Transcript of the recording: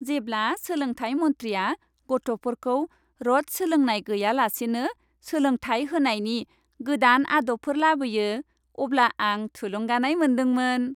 जेब्ला सोलोंथाय मन्थ्रिया गथ'फोरखौ र'ट सोलोंनाय गैयालासेनो सोलोंथाय होनायनि गोदान आदबफोर लाबोयो, अब्ला आं थुलुंगानाय मोन्दोंमोन।